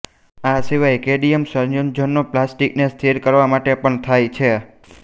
આસિવાય cadmium સંયોજનો પ્લાસ્ટીકને સ્થિર કરવા માટે પણ થાય છે